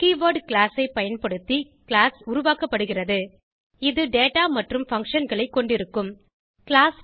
keyword class ஐ பயன்படுத்தி class உருவாக்கப்படுகிறது இது டேட்டா மற்றும் functionகளை கொண்டிருக்கும் கிளாஸ்